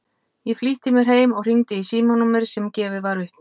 Ég flýtti mér heim og hringdi í símanúmerið sem gefið var upp.